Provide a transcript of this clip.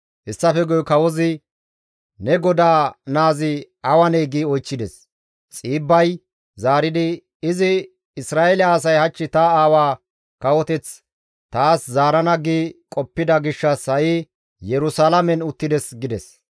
Hessafe guye kawozi, «Ne godaa naazi awanee?» gi oychchides. Xiibbay zaaridi, «Izi, ‹Isra7eele asay hach ta aawa kawoteth taas zaarana› gi qoppida gishshas ha7i Yerusalaamen uttides» gides.